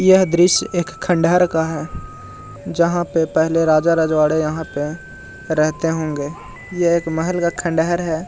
यह दृश्य एक खंडहर का है जहां पे पहले राजा रजवाड़े यहाँ पे रहते होंगे ये एक महल का खंडहर है।